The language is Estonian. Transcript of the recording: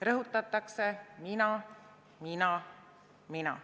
Rõhutatakse: mina, mina, mina.